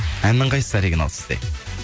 әннің қайсысы оригинал сізде